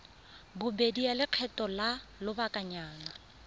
bobedi ya lekgetho la lobakanyana